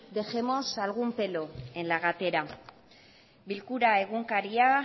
dejemos algún pelo en la gatera bilkura egunkaria